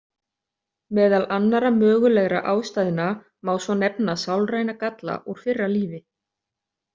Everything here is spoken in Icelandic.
Meðal annarra mögulegra ástæðna má svo nefna sálræna galla úr fyrra lífi.